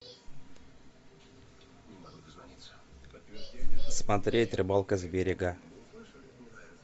смотреть рыбалка с берега